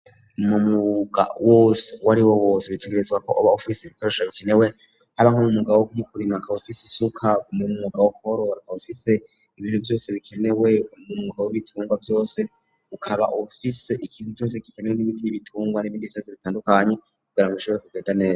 Mw'umuga wose wariwo wose utegerezwa kuba ufisi ibikoresho bikenewe haba nk'umwuga wo kurima ukaba ufise isuka, mw'umuga wo korora ukaba ufise ibintu vyose bikenewe mw'umuga w'ibitungwa vyose ukaba ufise ikintu cose kikenewe n'ibiti n'ibitungwa n'ibindi vyose bitandukanye kugira ngo bishobore kugenda neza.